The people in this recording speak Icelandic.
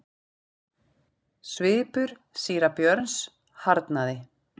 Svipur síra Björns harðnaði.